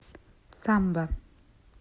самба